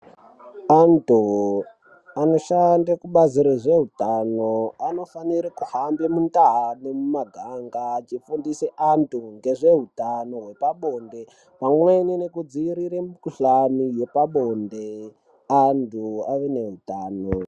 Antu anoshande kubazi rezveutano anofanire kuhambe mundau nemumuganga achifundise antu ngezveutano hwepabonde, pamweni nekudzivirire mukhuhlani yepabonde antu ave neutano.